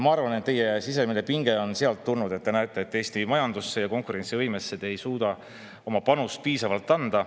Ma arvan, et teie sisemine pinge on sealt tulnud, te näete, et Eesti majandusse ja konkurentsivõimesse te ei suuda oma panust piisavalt anda.